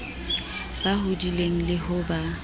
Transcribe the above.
ba hodileng le ho ba